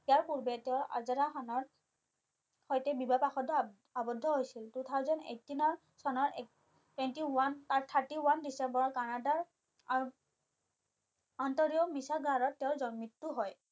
ইয়াৰ পূৰ্বে তেও আজাৰা খানৰ সৈতে বিবাহ পাশত আৱদ্ধ হৈছিল two thousand eighteen চনৰ Thirty one ডিচেম্বৰৰ কানাডাৰ আন্তৰীয় মিছাগাৰত তেও মৃত্যু হয়